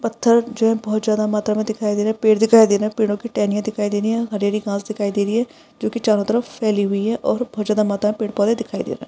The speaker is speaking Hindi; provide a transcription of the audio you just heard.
पत्थर जो है बहुत ज्यादा मात्रा दिखाई दे रहा है पेड़ दिखाई दे रहा है पेड़ो को टेहनीया दिखाई दे रही है हरी-हरी घास दिखाई दे रही है जोकी चारों तरफ फेली हुई है और बहुत ज्यादा पेड़-पौधे दिखाई दे रही है।